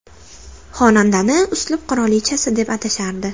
Xonandani uslub qirolichasi deb atashardi.